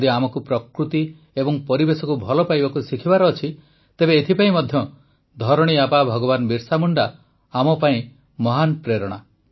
ଯଦି ଆମକୁ ପ୍ରକୃତି ଏବଂ ପରିବେଶକୁ ଭଲ ପାଇବାକୁ ଶିଖିବାର ଅଛି ତେବେ ଏଥିପାଇଁ ମଧ୍ୟ ଧରଣୀ ଆବା ଭଗବାନ ବିର୍ସା ମୁଣ୍ଡା ଆମପାଇଁ ମହାନ ପ୍ରେରଣା